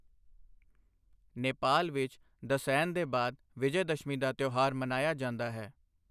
ਨੇਪਾਲ ਵਿੱਚ ਦਸਹਿਨ ਦੇ ਬਾਅਦ ਵਿਜੈਦਸ਼ਮੀ ਦਾ ਤਿਉਹਾਰ ਮਨਾਇਆ ਜਾਂਦਾ ਹੈ।